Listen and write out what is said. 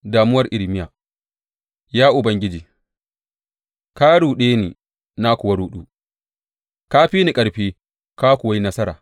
Damuwar Irmiya Ya Ubangiji, ka ruɗe ni, na kuwa ruɗu; ka fi ni ƙarfi, ka kuwa yi nasara.